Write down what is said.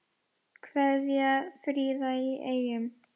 Kveðja, Fríða í Eyjum